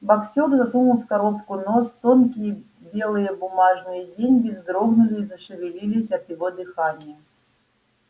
боксёр засунул в коробку нос тонкие белые бумажные деньги вздрогнули зашевелились от его дыхания